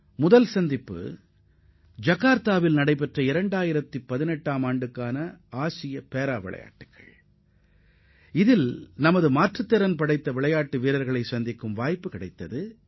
முதலாவது சந்திப்பு ஜகார்த்தாவில் நடைபெற்ற 2018 ஆம் ஆண்டுக்கான மாற்றுத் திறனாளிகளுக்கான ஆசிய விளையாட்டுப் போட்டியில் கலந்து கொண்ட நமது மாற்றுத் திறனாளி தடகள வீரர்களுடனானதாகும்